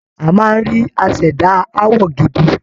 A máa rí aṣẹ̀dá àwọ̀ gidi